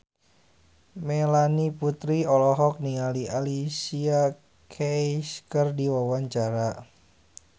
Melanie Putri olohok ningali Alicia Keys keur diwawancara